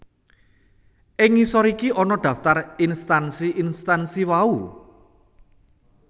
Ing ngisor iki ana daftar instansi instansi wau